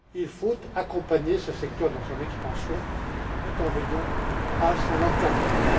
Il faut accompagner ce secteur dans son expansion tout en veillant à son encadrement.